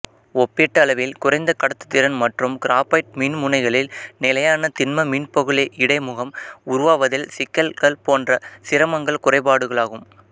ஒப்பீட்டளவில் குறைந்த கடத்துதிறன் மற்றும் கிராபைட் மின்முனைகளில் நிலையான திண்ம மின்பகுளி இடைமுகம் உருவாவதில் சிக்கல் போன்ற சிரமங்கள் குறைபாடுகளாகும்